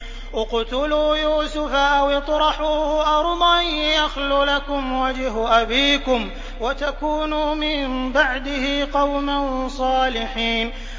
اقْتُلُوا يُوسُفَ أَوِ اطْرَحُوهُ أَرْضًا يَخْلُ لَكُمْ وَجْهُ أَبِيكُمْ وَتَكُونُوا مِن بَعْدِهِ قَوْمًا صَالِحِينَ